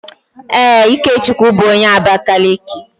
Ee, Ikechukwu bu onye Abakaliki